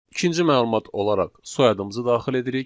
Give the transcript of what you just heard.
İkinci məlumat olaraq soyadımızı daxil edirik.